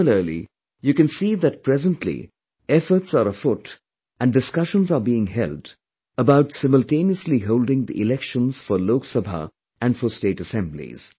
Similarly, you can see that presently efforts are afoot and discussions are being held about simultaneously holding the elections for Lok Sabha and for state assemblies